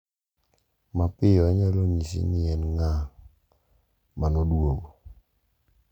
mapiyo onyalo nyisi ni en ng'a ma noduogo